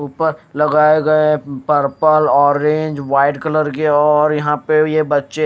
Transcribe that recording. ऊपर लगाये गये हैं पर्पल ओरेंज वाइट कलर और यहाँ पे ये बच्चे--